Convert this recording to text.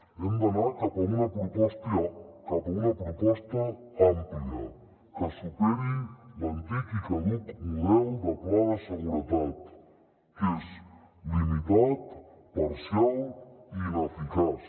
hem d’anar cap a una proposta àmplia que superi l’antic i caduc model de pla de seguretat que és limitat parcial i ineficaç